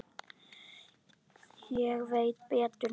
Ég veit betur núna.